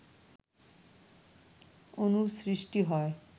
অনুর সৃষ্টি হয়